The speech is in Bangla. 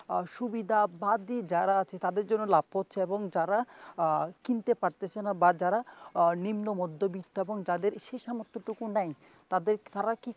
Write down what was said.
আহ সুবিধাবাদী যারা তাদের জন্য লাভ করছে এবং যারা আহ কিনতে পারতেছে না বা যারা আহ নিম্ন মধ্যবৃত্ত এবং যাদের সেই র্সামর্থ্যটুকু নাই তাদের তারা কি